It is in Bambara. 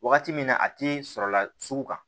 Wagati min na a ti sɔrɔ la sugu kan